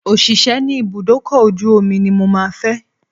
Òṣìṣẹ́ ní ibùdó ọkọ̀ ojú omi ní mo máa fẹ́